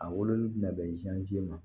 A wololi bina bɛn ma